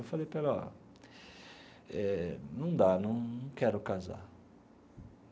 Eu falei para ela ó eh, não dá, não quero casar.